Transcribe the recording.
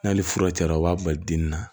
N'ale fura cayara u b'a bali den na